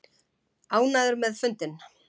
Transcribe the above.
Ánægður með fundinn